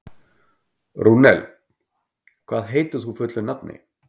Rúnel, hvað heitir þú fullu nafni?